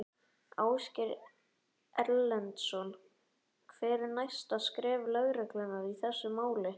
Ásgeir Erlendsson: Hver eru næstu skref lögreglunnar í þessu máli?